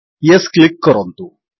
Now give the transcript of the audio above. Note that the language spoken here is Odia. ୟେସ୍ କ୍ଲିକ୍ କରନ୍ତୁ